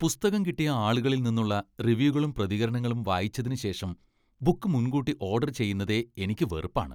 പുസ്തകം കിട്ടിയ ആളുകളിൽ നിന്നുള്ള റിവ്യൂകളും പ്രതികരണങ്ങളും വായിച്ചതിന് ശേഷം ബുക്ക് മുൻകൂട്ടി ഓഡർ ചെയ്യുന്നതേ എനിക്ക് വെറുപ്പാണ്.